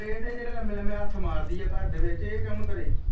ਫਿਰ ਇਹਦੇ ਜਿਹੜੇ ਲੰਮੇ ਲੰਮੇ ਹੱਥ ਮਾਰਦੀ ਆ ਘਰ ਦੇ ਵਿਚ ਇਹ ਕੌਣ ਕਰੇ।